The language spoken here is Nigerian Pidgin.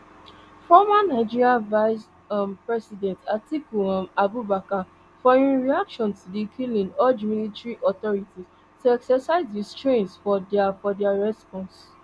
former nigeria vice um president atiku um abubakar for im reaction to di killing urge military authorities to exercise restraints for dia for dia response